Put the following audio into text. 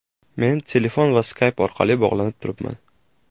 Men telefon va Skype orqali bog‘lanib turibman.